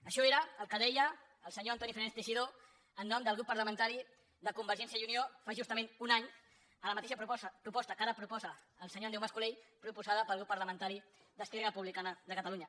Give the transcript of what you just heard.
això era el que deia el senyor antoni fernández teixidó en nom del grup parlamentari de convergència i unió fa justament un any a la mateixa proposta que ara proposa el senyor andreu mas colell proposada pel grup parlamentari d’esquerra republicana de catalunya